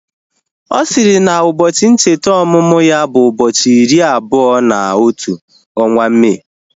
Ọ sịrị na ụbọchị ncheta ọmụmụ ya bụ ụbọchị iri abụọ na otu ọnwa Mee